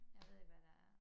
Jeg ved ikke hvad der